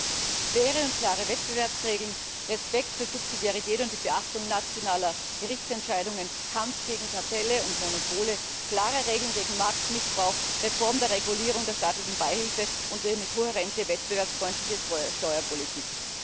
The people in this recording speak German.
Diese sind faire und klare Wettbewerbsregeln, Respekt für Subsidiarität und die Beachtung nationaler Gerichtsentscheidungen, Kampf gegen Kartelle und Monopole, klare Regeln gegen Marktmissbrauch, Reform der Regulierung der staatlichen Beihilfen und eine kohärente, wettbewerbsfreundliche Steuerpolitik.